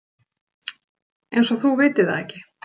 Eins og þú vitir það ekki.